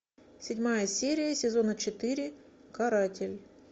седьмая серия сезона четыре каратель